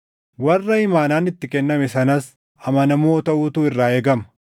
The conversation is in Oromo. Warra imaanaan itti kenname sanas amanamoo taʼuutu irraa eegama.